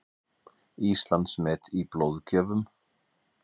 Íslandsmet í blóðgjöfum